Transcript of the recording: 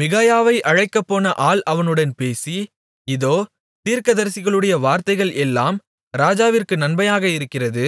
மிகாயாவை அழைக்கப்போன ஆள் அவனுடன் பேசி இதோ தீர்க்கதரிசிகளுடைய வார்த்தைகள் எல்லாம் ராஜாவிற்கு நன்மையாக இருக்கிறது